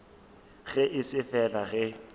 ge e se fela ge